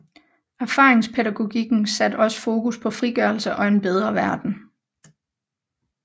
Erfaringspædagogikken satte også fokus på frigørelse og en bedre verden